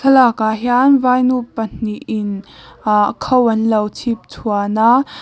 lakah hian vainu pahnihin ahh kho an lo chhipchhuan a.